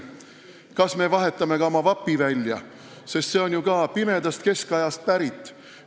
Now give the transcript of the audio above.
Kas me vahetame ka oma vapi välja – seegi on ju pimedast keskajast pärit?